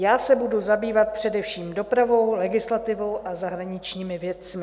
Já se budu zabývat především dopravou, legislativou a zahraničními věcmi.